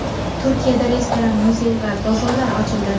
Turkiyada restoran, muzey va bozorlar ochildi.